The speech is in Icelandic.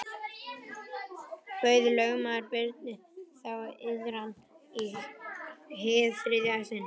Bauð lögmaður Birni þá iðran í hið þriðja sinn.